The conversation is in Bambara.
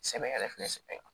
Sɛbɛ yɛrɛ fɛnɛ